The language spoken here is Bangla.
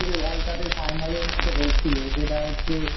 World Cup এর Final এর মতো হয়েছিল সেটা হচ্ছে